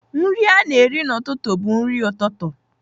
Nri a na-eri n'ụtụtụ bụ nri ụtụtụ.